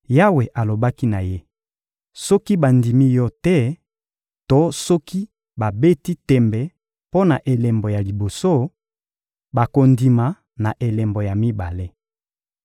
Yawe alobaki na ye: — Soki bandimi yo te to soki babeti tembe mpo na elembo ya liboso, bakondima na elembo ya mibale.